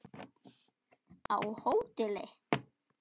Á hóteli?